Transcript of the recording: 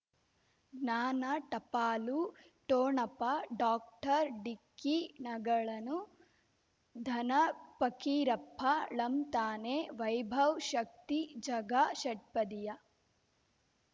ಜ್ಞಾನ ಟಪಾಲು ಠೋಣಪ ಡಾಕ್ಟರ್ ಢಿಕ್ಕಿ ಣಗಳನು ಧನ ಫಕೀರಪ್ಪ ಳಂತಾನೆ ವೈಭವ್ ಶಕ್ತಿ ಝಗಾ ಷಟ್ಪದಿಯ